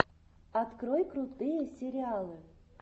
открой крутые сериалы